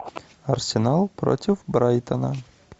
арсенал против брайтона